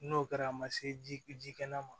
N'o kɛra a ma se ji kɛnɛ ma